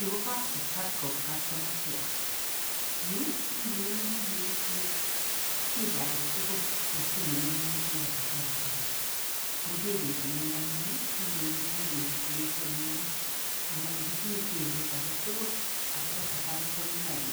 Yu ko kap safaricom customer care .Yu iwendi yeitinye shida aketugul eng somoing'ung nebo safaricom. Ngokebet laindang'ung iwendi bikeriplesenun anan ngitinye tebut aketugul akobo safaricom line